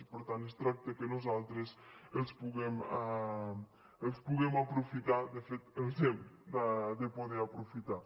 i per tant es tracta que nosaltres els puguem aprofitar de fet els hem de poder aprofitar